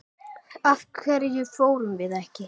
Af hverju fórum við ekki?